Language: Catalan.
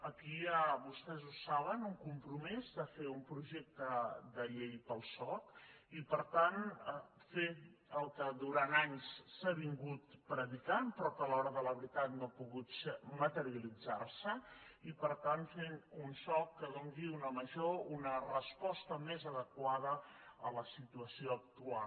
aquí hi ha vostès ho saben un compromís de fer un projecte de llei per al soc i per tant fer el que durant anys s’ha vingut predicant però que a l’hora de la veritat no ha pogut materialitzar se i per tant fent un soc que doni una resposta més adequada a la situació actual